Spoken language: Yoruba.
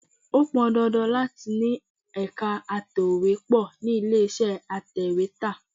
Ó pọn dandan láti ni ẹ̀ka atòwépó ni ilé iṣẹ́ atèwétà.